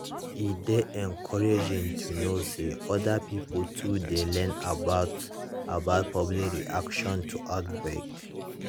e dey encouraging to know say other pipo too dey learn about about public reaction to outbreak